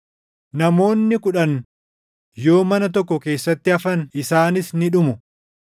Namoonni kudhan yoo mana tokko keessatti hafan isaanis ni dhumu.